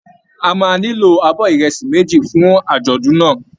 A máa nílò abọ́ ìrẹsì méjì fún àjọ̀dún náà